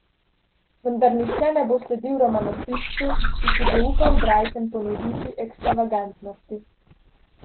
Vendar nihče ne bo sledil romanopiscu, ki si bo upal bralcem ponuditi ekstravagantnosti.